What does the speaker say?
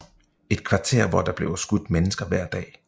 Et kvarter hvor der bliver skudt mennesker hver dag